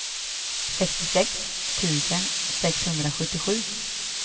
sextiosex tusen sexhundrasjuttiosju